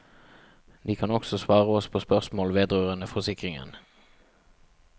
De kan også svare oss på spørsmål vedrørende forsikringen.